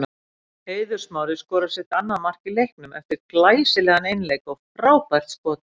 Eiður Smári skorar sitt annað mark í leiknum eftir glæsilegan einleik og frábært skot.